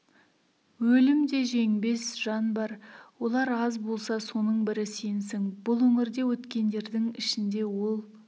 өлім де жеңбес жан бар олар аз болса соның бірі сенсің бұл өңірде өткендердің ішінде ол